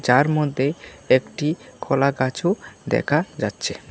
যার মধ্যে একটি কলাগাছও দেখা যাচ্ছে।